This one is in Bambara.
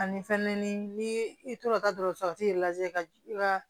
Ani fɛnɛ ni ni i tora ka dɔgɔtɔrɔso yɛrɛ lajɛ ka i ka